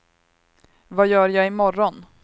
vad gör jag imorgon